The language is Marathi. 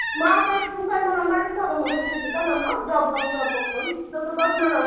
मग तु काय म्हणावं माझ्याच मागं मागं फिरती काय म्हणावं जॉब बघ जॉब बघ म्हणून तुझं तू बघ म्हणावं.